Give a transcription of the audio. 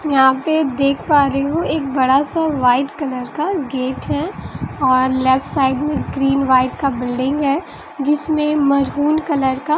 यहां पे देख पा रही हूं एक बड़ा सा व्हाइट कलर का गेट है अ लेफ्ट साइड में ग्रीन व्हाइट का बिल्डिंग है जिसमें मैरून कलर का--